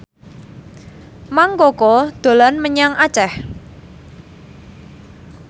Mang Koko dolan menyang Aceh